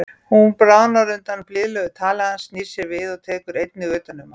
Hún bráðnar undan blíðlegu tali hans, snýr sér við og tekur einnig utan um hann.